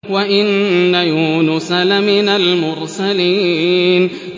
وَإِنَّ يُونُسَ لَمِنَ الْمُرْسَلِينَ